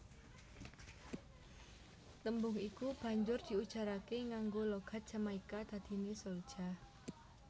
Tembung iku banjur diujaraké nganggo logat Jamaika dadiné souljah